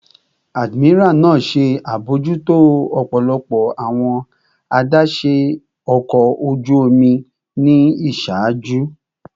Admiral naa ṣe abojuto ọpọlọpọ awọn adaṣe ọkọ oju omi ni iṣaaju